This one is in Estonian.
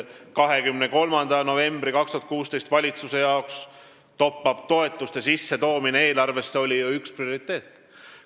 23. novembrist 2016 ametisse astunud valitsuse jaoks oli top-up-toetuste eelarvesse sissetoomine ju üks prioriteete.